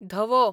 धवो